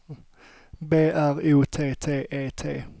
B R O T T E T